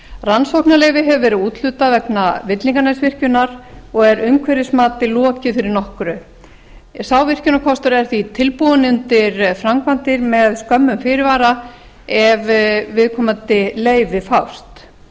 rannsóknarleyfi hefur verið úthlutað vegna villinganesvirkjunar og er umhverfismati lokið fyrir nokkru sá virkjunarkostur er því tilbúinn undir framkvæmdir með skömmum fyrirvara ef viðkomandi leyfi fást